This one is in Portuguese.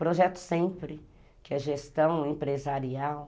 Projeto sempre, que é gestão empresarial.